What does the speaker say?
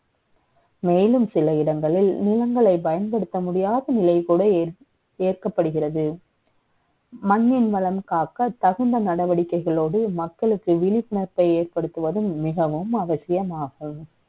மே லும் சில இடங்களில், நிலங்களை பயன்படுத்த முடியாத நிலை கூட ஏற்படுகிறது. மண்ணின் வளம் காக்க, தகுந்த நடவடிக்கை கள ோடு, மக்களுக்கு விழிப்புணர்வை ஏற்படுத்துவதும், மிகவும் அவசியமாகும்